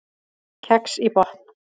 Kex í botn